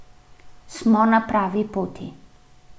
Smo na pravi poti.